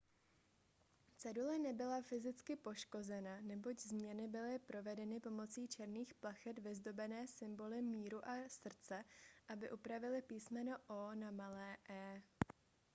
cedule nebyla fyzicky poškozena neboť změny byly provedeny pomocí černých plachet vyzdobené symboly míru a srdce aby upravily písmeno o na malé e